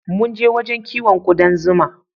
Munje wajen kiwon kuɗan zuma